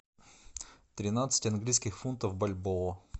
тринадцать английских фунтов в бальбоа